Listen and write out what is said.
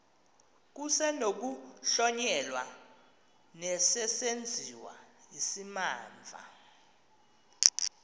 kusenokuhlonyelwa nesesenziwa isimamva